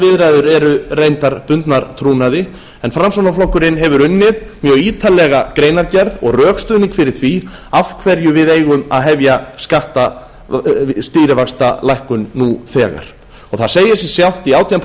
viðræður eru reyndar bundnar trúnaði en framsóknarflokkurinn hefur unnið mjög ítarlega greinargerð og rökstuðning fyrir því af hverju við eigum að hefja stýrivaxtalækkun nú þegar það segir sig sjálft í átján